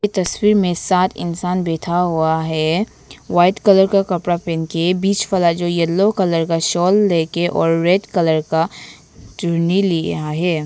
तस्वीर में सात इंसान बैठा हुआ है व्हाइट कलर का कपड़ा पहन के बीच वाला जो येलो कलर का शॉल लेके और रेड कलर का चुन्नी लिया है।